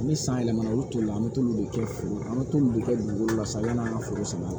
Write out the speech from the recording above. Ni san yɛlɛmana olu toli la an bɛ t'olu de kɛ foro an bɛ t'olu de kɛ dugukolo la sa yani an ka foro sɛnɛ